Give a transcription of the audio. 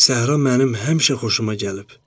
Səhra mənim həmişə xoşuma gəlib.